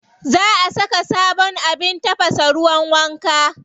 Za a saka sabon abin tafasa ruwan wanka.